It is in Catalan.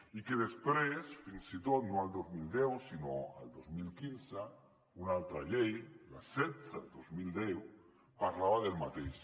i després fins i tot no el dos mil deu sinó el dos mil quinze una altra llei la setze dos mil deu parlava del mateix